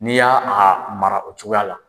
N'i y'a a mara o cogoyaya la